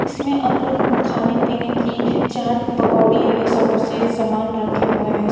इसमें अंदर खाने पीने की चाट पकौड़ी समोसे सामान रखे हुए हैं।